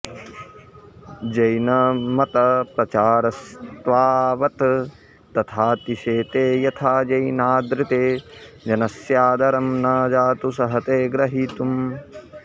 जैनमतप्रचारस्तावत् तथातिशेते यथा जैनादृते जनस्यादरं न जातु सहते ग्रहीतुम्